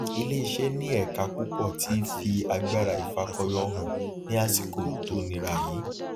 ilé iṣẹ ní ẹka púpọ ti fi agbára ifakọyọ hàn ní àsìkò tó nira yìí